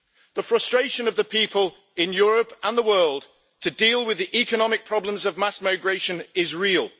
The frustration of the people in Europe and the world to deal with the economic problems of mass migration is real.